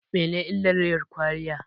Mene illar yin kwaliya?